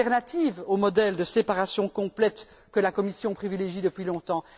de rechange au modèle de séparation complète que la Commission privilégie depuis longtemps.